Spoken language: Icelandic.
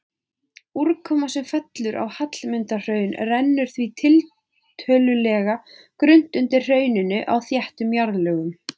Úrkoma sem fellur á Hallmundarhraun rennur því tiltölulega grunnt undir hrauninu á þéttum jarðlögum.